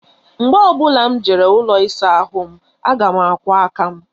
Mgbe ọ bụla m jere ụlọ ịsa ahụ aga m akwọ aka m